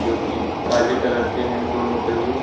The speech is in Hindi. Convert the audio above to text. जो कि काले कलर के है दोनो पहिये।